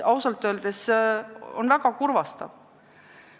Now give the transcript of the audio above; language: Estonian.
Ausalt öeldes on see väga kurvastav.